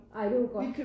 Ej det var godt